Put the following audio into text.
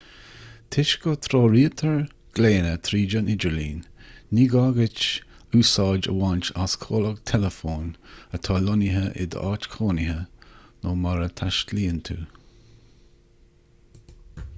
toisc go dtreoraítear glaonna tríd an idirlíon ní gá duit úsáid a bhaint as comhlacht teileafóin atá lonnaithe i d'áit chónaithe nó mar a dtaistealaíonn tú